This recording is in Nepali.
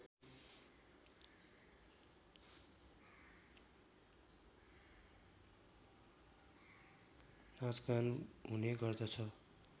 नाचगान हुने गर्दछ